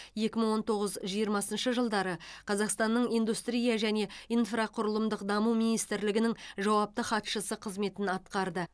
екі мың он тоғыз жиырмасыншы жылдары қазақстанның индустрия және инфрақұрылымдық даму министрлігінің жауапты хатшысы қызметін атқарды